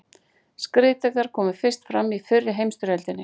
Skriðdrekar komu fyrst fram í fyrri heimsstyrjöldinni.